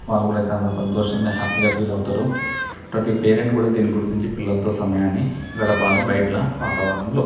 వాళ్ళు కూడా చాలా సంతోషముగా హ్యాపి గా ఫీల్ అవుతారు ప్రతి పేరెంట్ కూడా దీనిని గుర్తించి పిల్లలతో సమయాన్ని గడపాలి బయట వాతావరణం లో.